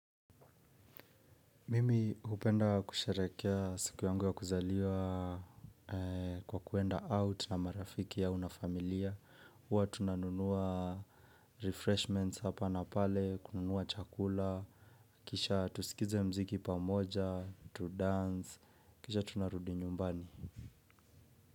Mimi hupenda kusherekea siku yangu ya kuzaliwa kwa kuenda out na marafiki au na familia huwa tunanunua refreshments hapa na pale, kununua chakula. Kisha tusikize mziki pamoja, tudance, kisha tunarudi nyumbani.